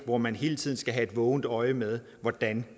hvor man hele tiden skal have et vågent øje med hvordan